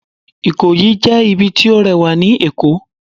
Ikoyi jẹ ibì ti o rewa ní Èko